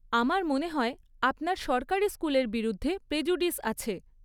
আমার মনে হয় আপনার সরকারি স্কুলের বিরুদ্ধে প্রেজুডিস আছে।